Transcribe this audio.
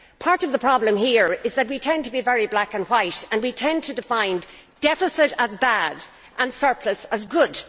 Part of the problem here is that we tend to be very black and white, and we tend to define deficit as bad and surplus as good.